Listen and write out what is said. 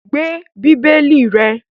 Gbe Bíbélì rẹ̀!